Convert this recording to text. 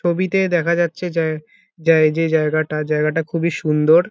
ছবিতে দেখা যাচ্ছে জায় যে জায়গাটা জায়গাটা খুবই সুন্দর।